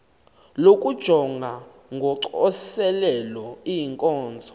lokujonga ngocoselelo iinkonzo